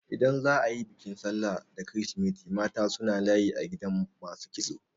Idan za a yi bikin sallah da kirisimeti mata suna layi a gidan masu kitso.